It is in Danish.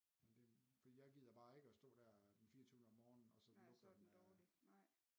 Men det for jeg gider bare ikke at stå dér den fireogtyvende om morgenen og så den lugter den af